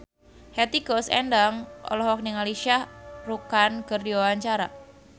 Hetty Koes Endang olohok ningali Shah Rukh Khan keur diwawancara